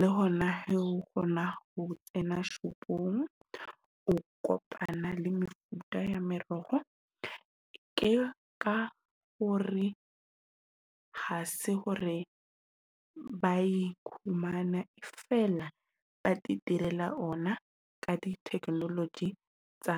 le hona ho hona ho tsena shopong, o kopana le mefuta ya meroho. Ke ka hore ha se hore ba e fumana feela ba direla ona ka di-technology tsa .